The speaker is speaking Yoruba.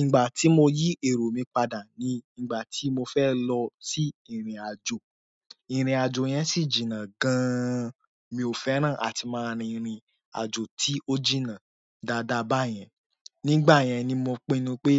Ìgbà tí mo yí èrò mi padà ni ìgbà tí mo fẹ́ lọ sí ìrìn-àjò. Ìrìnàjò yẹn sì jìnà gan, mi ò fẹ́ràn láti máa rìrìn àjò tí ó jìnà dáadáa báyẹn. Nígbà yẹn ni mo pinnu pé